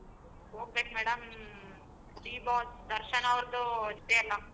ಹೊಗಬೇಕ್ madam D boss Darshan ಅವರ್ದು ಇದೆಯಲ್ಲ.